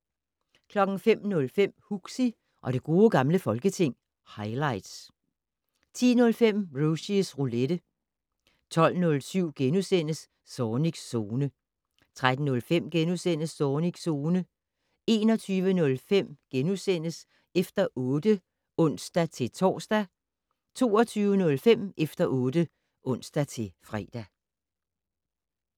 05:05: Huxi og det gode gamle folketing - highlights 10:05: Rushys Roulette 12:07: Zornigs Zone * 13:05: Zornigs Zone * 21:05: Efter 8 *(ons-tor) 22:05: Efter 8 (ons-fre)